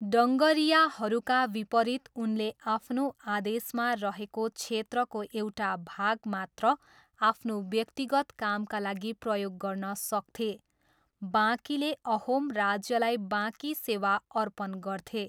डङ्गरियाहरूका विपरीत उनले आफ्नो आदेशमा रहेको क्षेत्रको एउटा भाग मात्र आफ्नो व्यक्तिगत कामका लागि प्रयोग गर्न सक्थे, बाँकीले अहोम राज्यलाई बाँकी सेवा अर्पण गर्थे।